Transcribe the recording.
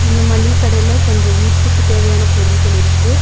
இந்த மளிக கடையில கொஞ்சோ வீட்டுக்கு தேவையான பொருள்கள் இருக்கு.